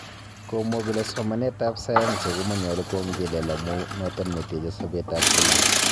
Komwa kole somanet ab sayansi komonyulu kwongwel amuu noton neteche sobeet ab kila.